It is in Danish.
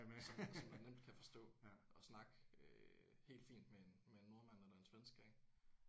Som som man nemt kan forstå og snakke øh helt fint med en med en nordmand eller en svensker ik